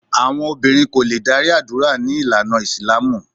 Àwọn obìnrin kò lè darí àdúrà ní ìlànà Ìsìlámù